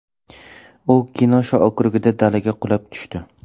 U Kenosha okrugida dalaga qulab tushdi.